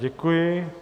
Děkuji.